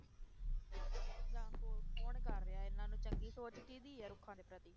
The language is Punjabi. ਜਾਂ ਹੋਰ ਕੌਣ ਕਰ ਰਿਹਾ ਇਹਨਾਂ ਨੂੰ ਚੰਗੀ ਸੋਚ ਕਿਹਦੀ ਹੈ ਰੁੱਖਾਂ ਦੇ ਪ੍ਰਤੀ?